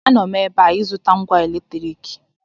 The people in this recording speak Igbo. Anọ m ebe a ịzụta ngwa eletriki